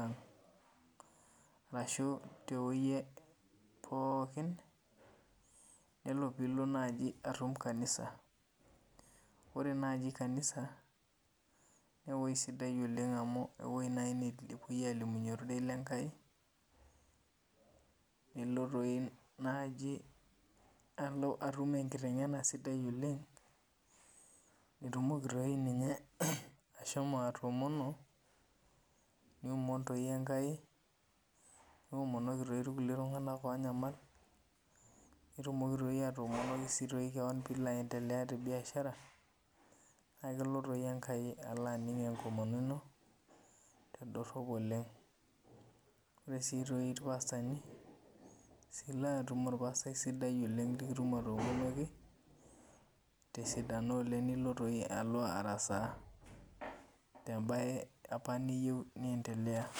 aang ashu tewoi pooki ore nai pilo atum kanisa ore naji kanisa na ewoi sidai amu ewoi nai napuoi alimunye ororei lenkai, niko atum enkitengena sidai oleng nitumoki ninye ashomo atoomono niomonoki irkulie tunganak onyamal nitumoki si atoomonoki keon pitumoki ashomo aendelea tebiashara na ketumoki enkai ashomo ainingo enkomono ino tedorop oleng ore si irpastani na ilo atum orpaastai sidai oleng nikitum atoomonoki tesidano oleng nilo araasa tembae apa nayieu oleng.